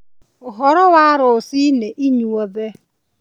ũhoro wa rũcinĩ inyuothe